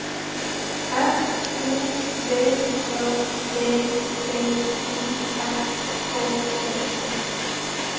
S O V J E T I S K E